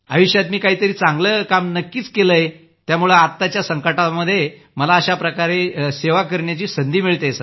आयुष्यात मी काहीतरी चांगलं काम नक्कीच केलंय त्यामुळंच आत्ताच्या संकटात मला अशा प्रकारे सेवा करण्याची संधी मिळतेय